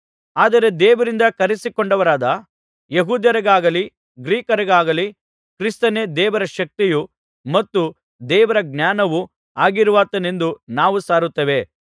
ಆದರೆ ದೇವರಿಂದ ಕರಿಸಿಕೊಂಡವರಾದ ಯೆಹೂದ್ಯರಿಗಾಗಲಿ ಗ್ರೀಕರಿಗಾಗಲಿ ಕ್ರಿಸ್ತನೇ ದೇವರ ಶಕ್ತಿಯೂ ಮತ್ತು ದೇವರ ಜ್ಞಾನವೂ ಆಗಿರುವಾತನೆಂದು ನಾವು ಸಾರುತ್ತೇವೆ